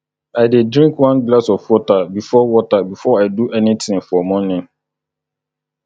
i dey drink one glass of water before water before i do anything for morning